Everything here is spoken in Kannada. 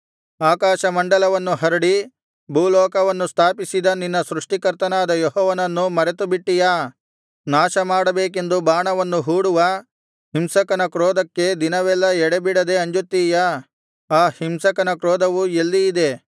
ಆಕಾಶಮಂಡಲವನ್ನು ಹರಡಿ ಭೂಲೋಕವನ್ನು ಸ್ಥಾಪಿಸಿದ ನಿನ್ನ ಸೃಷ್ಟಿಕರ್ತನಾದ ಯೆಹೋವನನ್ನು ಮರೆತುಬಿಟ್ಟೆಯಾ ನಾಶಮಾಡಬೇಕೆಂದು ಬಾಣವನ್ನು ಹೂಡುವ ಹಿಂಸಕನ ಕ್ರೋಧಕ್ಕೆ ದಿನವೆಲ್ಲಾ ಎಡೆಬಿಡದೆ ಅಂಜುತ್ತೀಯಾ ಆ ಹಿಂಸಕನ ಕ್ರೋಧವು ಎಲ್ಲಿ ಇದೆ